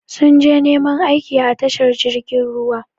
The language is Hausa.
Sun je neman aiki a tashar jirgin ruwa.